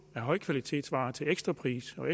højkvalitetsvarer til ekstra pris for